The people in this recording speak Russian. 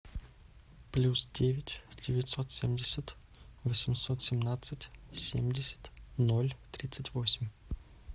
плюс девять девятьсот семьдесят восемьсот семнадцать семьдесят ноль тридцать восемь